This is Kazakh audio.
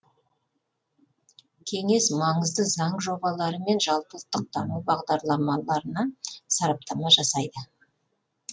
кеңес маңызды заң жобалары мен жалпы ұлттық даму бағдарламаларына сараптама жасайды